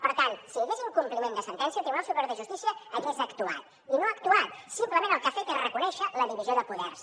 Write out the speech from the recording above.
per tant si hi hagués incompliment de sentència el tribunal superior de justícia hagués actuat i no ha actuat simplement el que ha fet és reconèixer la divisió de poders